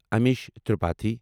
Amish Tripathi